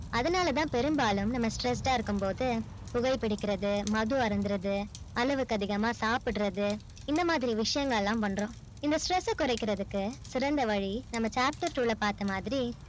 அதுனால்ல தான் பெரும்பாலும் நம்ம stressed ஆ இருக்கும் போது புகை பிடிக்கிறது மது அருந்துவது அளவுக்கு அதிகமா சாபிடுறது இந்த மாதிரி விஷயங்கள் எல்லாம் பண்றோம் இந்த stress ஸ்ஸ கொரைக்குரதுக்கு சிறந்த வழி நம்ம chapters உள்ள பார்த்த மாதிரி